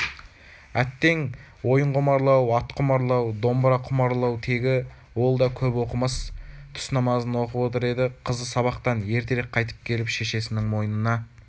әттең ойын құмарлау ат құмарлау домбыра құмарлау тегі ол да көп оқымас түс намазын оқып отыр еді қызы сабақтан ертерек қайтып келіп шешесінің мойнына